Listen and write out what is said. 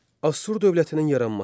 Assur dövlətinin yaranması.